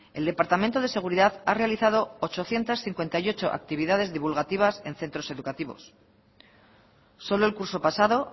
el departamento de seguridad ha realizado ochocientos cincuenta y ocho actividades divulgativas en centros educativos solo el curso pasado